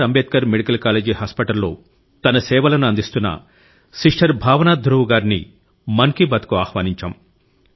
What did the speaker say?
Ambedkar medical college hospital లో తన సేవలను అందిస్తున్న సిస్టర్ భావనా ధ్రువ్ గారిని మన్ కి బాత్ కు ఆహ్వానించాం